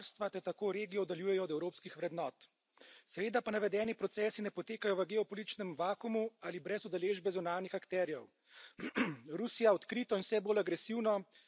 ki ne upoštevajo volje in ne zasledujejo interesov prebivalstva ter tako regijo oddaljujejo od evropskih vrednot. Seveda pa navedeni procesi ne potekajo v geopolitičnem vakuumu ali brez udeležbe zunanjih akterjev.